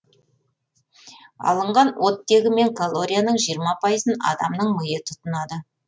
алынған оттегі мен калорияның жиырма пайызын адамның миы тұтынады